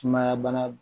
Sumaya bana